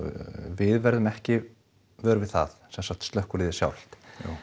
við verðum ekki vör við það sem sagt slökkviliðið sjálft